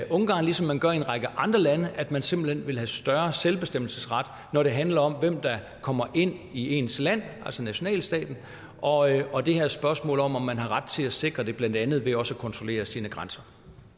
ungarn ligesom man gør i en række andre lande at man simpelt hen vil have større selvbestemmelsesret når det handler om hvem der kommer ind i ens land altså nationalstaten og og det her spørgsmål om om man har ret til at sikre det blandt andet ved også at kontrollere sine grænser